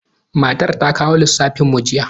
Matar ta kawo lissafin mu jiya.